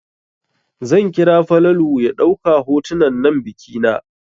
Zan kira Falalu ya ɗauka hotunan biki na.